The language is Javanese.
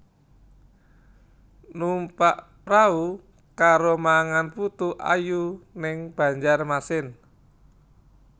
Numpak prahu karo mangan putu ayu ning Banjarmasin